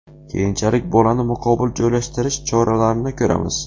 Keyinchalik bolani muqobil joylashtirish choralarini ko‘ramiz.